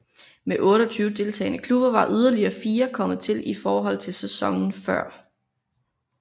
Med 28 deltagende klubber var yderligere fire kommet til i forhold til sæsonen før